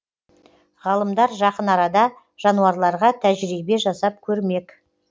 ғалымдар жақын арада жануарларға тәжірибе жасап көрмек